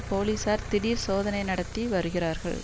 போலீசார் திடீர் சோதனை நடத்தி வருகிறார்கள்